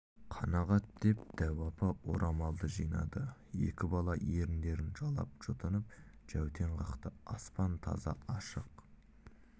қанағат деп дәу апа орамалды жинады екі бала еріндерін жалап жұтынып жәутең қақты аспан таза ашық